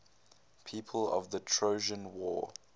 people of the trojan war